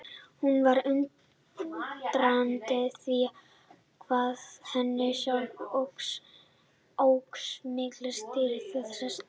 Hún var undrandi á því hvað henni sjálfri óx mikill styrkur á þessari stundu.